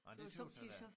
Nej det tøs jeg da